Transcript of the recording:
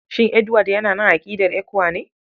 Shin Edward yana nan a aƙidar ECWA ne?